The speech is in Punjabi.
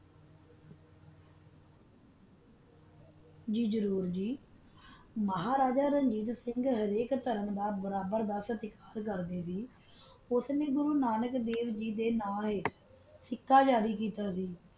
ੱਗ ਜ਼ਰੋਰ ਗੀ ਮਹਾਰਾਜਾ ਰਣਜੀਤ ਸਿੰਘ ਹਾਲਿਤ ਸਿਘ ਦਾ ਬਰਾਬਰ ਦਾ ਓਹੋ ਗੋਰੋਨਾਨਾਕ੍ਦਾਵ੍ਗੀ ਦਾ ਨਾ ਏਹਾ ਸਿਕਕਾ ਜਾਰੀ ਕੀਤਿਆ ਸੀ